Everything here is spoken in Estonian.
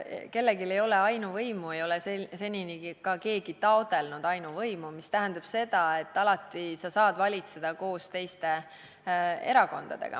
Kellelgi ei ole ainuvõimu, ei ole seni keegi ka taotlenud ainuvõimu, mis tähendab seda, et alati saad sa valitseda koos teiste erakondadega.